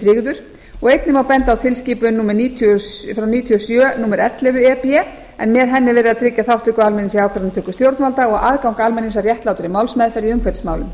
tryggður og einnig má benda á tilskipun númer níutíu frá nítján hundruð níutíu og sjö númer ellefu e b e en með henni er verið að tryggja þátttöku almennings í ákvarðanatöku stjórnvalda og aðgangi almennings að réttlátri málsmeðferð í umhverfismálum